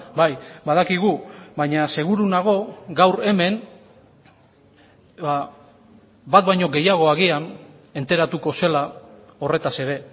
bai badakigu baina seguru nago gaur hemen bat baino gehiago agian enteratuko zela horretaz ere